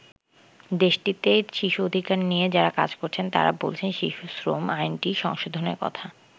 দেশটিতে শিশু অধিকার নিয়ে যারা কাজ করছেন, তারা বলছেন, শিশু শ্রম আইনটি সংশোধনের কথা।